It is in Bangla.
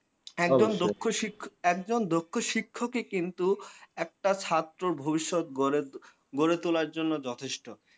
একজন দক্ষ শিক্ষক একজন দক্ষ শিক্ষকই কিন্তু একটা ছাত্রর ভবিষ্যত গড়ে তো গড়ে তোলার জন্যে যথেষ্ট।